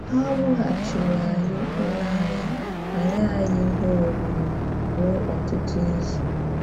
Ha wùghachírí ànyí ụlọ ànyí ma nye ànyí ihe orírí rùo ọtụtụ izù.